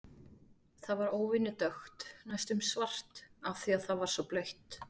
Það var óvenju dökkt, næstum svart, af því að það var svo blautt.